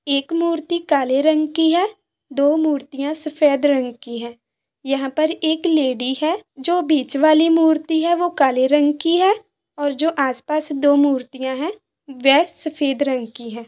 एक मूर्ति काले रंग की है दो मूर्तिया सफेद रंग की है यहा पर एक लेडी है जो बीच वाली मूर्ति है वो काले रंग की है और जो आसपास दो मूर्तिया है वेह सफेद रंग की है।